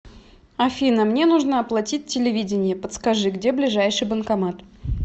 афина мне нужно оплатить телевидение подскажи где ближайший банкомат